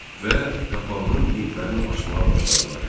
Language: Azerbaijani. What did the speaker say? və qapağının vintlərini açmağa başladılar.